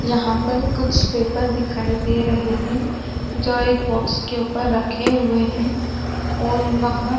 यहाँ पर कुछ पेपर दिखाई दे रहे है जो एक बॉक्स के ऊपर रखे हुए है और वहां--